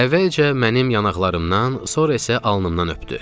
Əvvəlcə mənim yanaqlarımdan, sonra isə alnımdan öpdü.